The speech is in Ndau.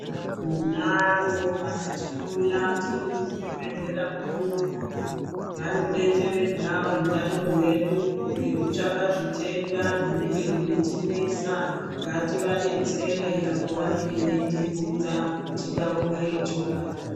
Tinavo vanotihloya tiri muzvibhedhleya mwedu imwomw,o vanobetseredza utano hwedu. Ngekutsvaka zvitenda zvinenge zveitinesa ngativabetsere apo vanenge veitibvunza titaure chokwadi.